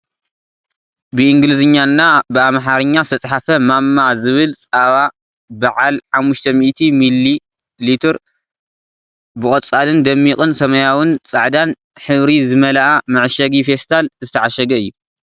ብኢንግሊዝኛ እና ብኣማሓርኛ ዝተፅሓፈ ማማ ዝብል ፃባ ብዓል 500 ሚሊ ብቆፃልን ደሚቅ ሰማያዊን ፃዕዳን ሕብሪ ዝመልኣ መዐሸጊ ፈስታል ዝተዓሸገ እዩ ።